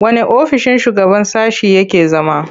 Wanne ofissin shugaban sashe yake zama?